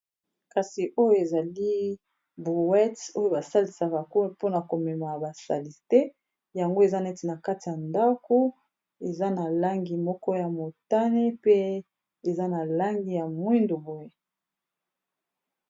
Kasi oyo ezali bowet oyo basalisaka mpona komema basalite yango eza neti na kati ya ndako eza na langi moko ya motane pe eza na langi ya mwindu boye